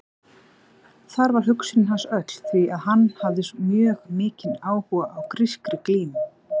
Þar var hugsun hans öll því að hann hafði mjög mikinn áhuga á grískri glímu.